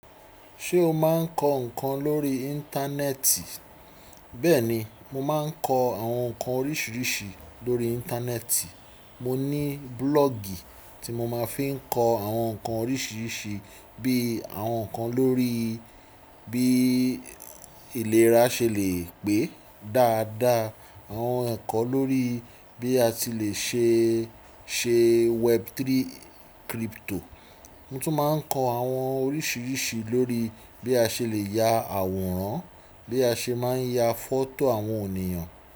Ṣé o máa ń kọ nǹkan lórí Internet? Bẹ́ẹ̀ni, mo máa ń kọ àwọn nǹkan oríṣiríṣi lórí Íńtánẹ́ẹ̀tì. Mo ní búlọ́ọ̀gì tí mo máa ń fi kọ àwọn nǹkan oríṣiríṣi bí i àwọn nǹkan lórí bí ìlera ṣe lè pé dáadáa, àwọn ẹ̀kọ́ lórí bí a ṣe lè ṣe, ṣe web3 crypto. Mo tún máa ń kọ àwọn oríṣiríṣi lórí bí a ṣe lè ya àwòrán, bí a ṣe máa ń ya fọ́tò àwọn ènìyàn.